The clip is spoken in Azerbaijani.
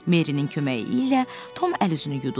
Merrinin köməyi ilə Tom əl-üzünü yudu.